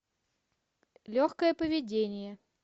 легкое поведение